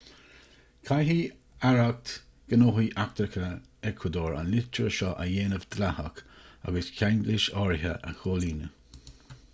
caithfidh aireacht gnóthaí eachtracha eacuadór an litir seo a dhéanamh dleathach agus ceanglais áirithe a chomhlíonadh